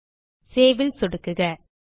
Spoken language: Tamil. இப்போது சேவ் ல் சொடுக்குக